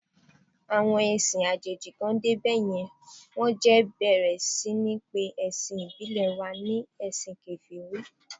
Àwọn ẹ̀sìn àjèjì kàn dé bá yẹn, wón jẹ̀ bẹ̀rẹ̀ sí ní pe awon ẹ̀sìn ìbílẹ̀ wa ni ẹ̀sìn Kèfèrí.